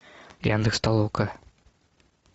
яндекс толока